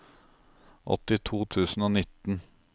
åttito tusen og nitten